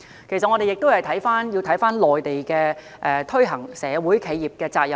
其實，我們要看看內地推行企業社會責任的情況。